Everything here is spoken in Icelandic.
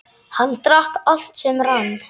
Hann drakk allt sem rann.